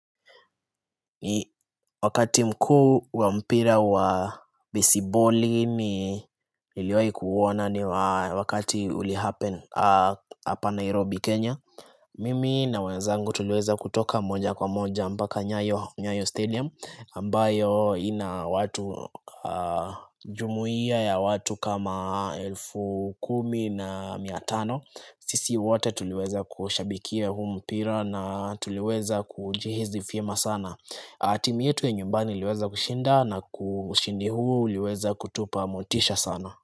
Ni wakati mkuu wa mpira wa besiboli niliwahi kuona ni wakati ilifanyika hapa Nairobi Kenya Mimi na wenzangu tuliweza kutoka moja kwa moja mpaka nyayo stadium ambayo ina watu Jumuia ya watu kama elfu kumi na miatano. Sisi wote tuliweza kushabikia huu mpira na tuliweza kujihisi vyema sana. Timu yetu ya nyumbani liweza kushinda na ushindi huu uliweza kutupa motisha sana.